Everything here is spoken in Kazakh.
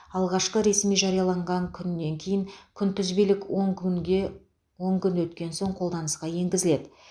алғашқы ресми жарияланған күнінен кейін күнтізбелік он күнге он күн өткен соң қолданысқа енгізіледі